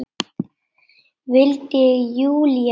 vildi Júlía vita.